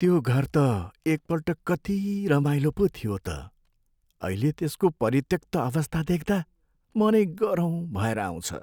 त्यो घर त एकपल्ट कति रमाइलो पो थियो त। अहिले त्यसको परित्यक्त अवस्था देख्दा मनै गह्रौँ भएर आउँछ।